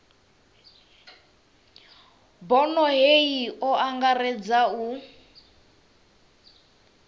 bono hei o angaredza u